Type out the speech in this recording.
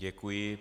Děkuji.